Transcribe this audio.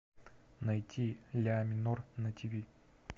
найти ля минор на тв